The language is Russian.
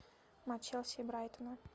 матч челси и брайтона